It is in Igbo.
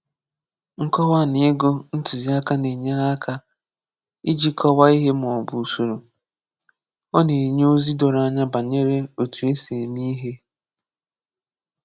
Nkọ́wa na ịgụ ntúziàká na-enyéré aka íjì kọ́waa ihe ma ọ bụ ụ̀sọ̀rò. Ọ na-enye ozi doro anya banyere òtù esi eme ihe.